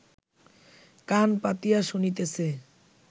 কান পাতিয়া শুনিতেছে